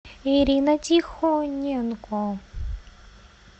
ирина тихоненко